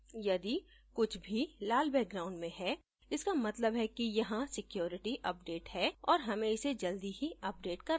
यदि कुछ भी लाल background में है इसका मतलब है कि यहाँ security update है और हमें इसे जल्दी ही अपडेट करना चाहिए